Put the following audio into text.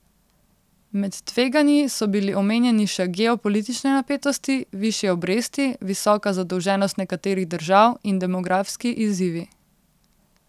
Med tveganji so bili omenjeni še geopolitične napetosti, višje obresti, visoka zadolženost nekaterih držav in demografski izzivi.